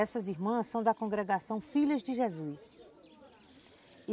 Essas irmãs são da congregação Filhas de Jesus.